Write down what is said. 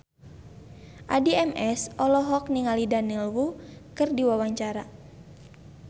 Addie MS olohok ningali Daniel Wu keur diwawancara